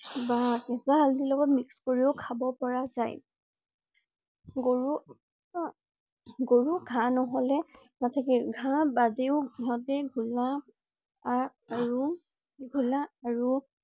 বা কেঁচা হালধি লগত mix কৰিও খাব পৰা জাই । গৰু~গৰু ঘাঁহ নহলে নাথাকে। ঘাঁহ বাজেও ইহঁতে শাক আৰু ঘুলা আৰু